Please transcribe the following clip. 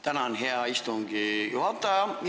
Tänan, hea istungi juhataja!